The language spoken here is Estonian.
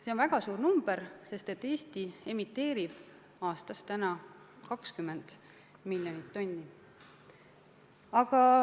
See on väga suur arv, sest Eesti emiteerib aastas 20 miljonit tonni.